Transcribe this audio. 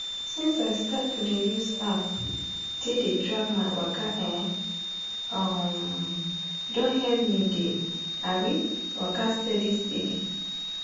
since i start to dey use app take dey track my waka[um][um] don help me dey um waka steady steady